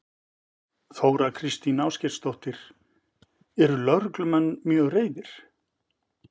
Þóra Kristín Ásgeirsdóttir: Eru lögreglumenn mjög reiðir?